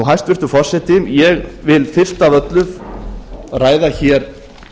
hæstvirtur forseti ég vil fyrst af öllu ræða hér